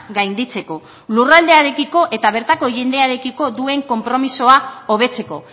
gainditzeko lurraldearekiko eta bertako jendearekiko duen konpromisoa hobetzeko